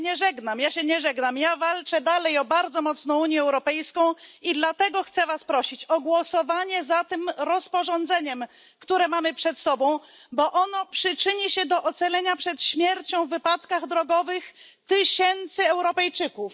Ja się nie żegnam. Ja się nie żegnam. Ja walczę dalej o bardzo mocną Unię Europejską. I dlatego chcę was prosić o głosowanie za tym rozporządzeniem, które mamy przed sobą, bo ono przyczyni się do ocalenia przed śmiercią w wypadkach drogowych tysięcy Europejczyków.